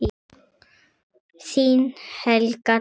Þín Helga Dögg.